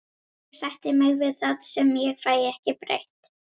Ég sætti mig við það sem ég fæ ekki breytt.